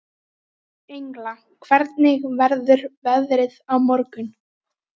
Engla, hvernig verður veðrið á morgun?